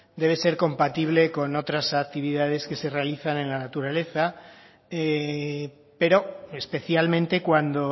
debe ser compatible con otras actividades que se realizan en la naturaleza pero especialmente cuando